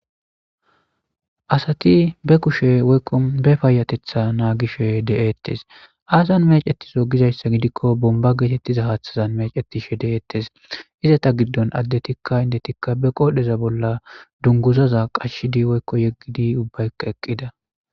Asati be kushe woykko be paayatetha naagishe de'ettes aasan mecetiso gizayssa gidikko bomba geetettiza haaththazan mecettishe de'eettes iza ta giddon addetikka indetikka be qoodheza bolla dunguzaza qashshidi woykko yeggidi ubbayka eqqida.